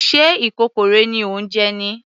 Sé ikokorẹ ni ò ń jẹ?